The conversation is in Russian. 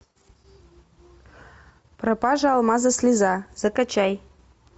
пропажа алмаза слеза закачай